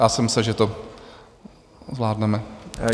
Já jsem myslel, že to zvládneme.